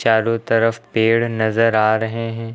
चारो तरफ पेड़ नजर आ रहे हैं।